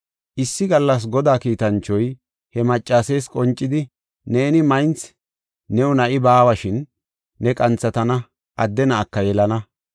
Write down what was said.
Issi gallas Godaa kiitanchoy he maccasees qoncidi, “Neeni maynthi; new na7i baawa; shin ne qanthatana; adde na7aka yelana.